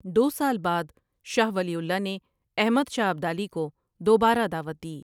دو سال بعد شاہ ولی اللہ نے احمد شاہ ابدالی کو دوبارہ دعوت دی۔